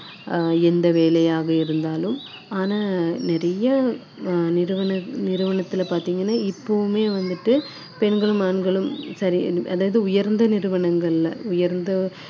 நிகரான சம்பளங்கள் கொடுக்கிறாங்க பெண்களுக்கு அஹ் எந்த வேலையாக இருந்தாலும் ஆனா நிறைய அஹ் நிறுவன~ நிறுவனத்துல பாத்தீங்கன்னா இப்பவுமே வந்துட்டு